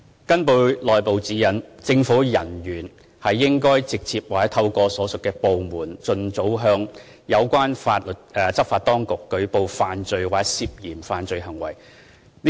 根據內部指引，政府人員應該直接或透過所屬部門，盡早向有關執法當局舉報犯罪或涉嫌犯罪行為。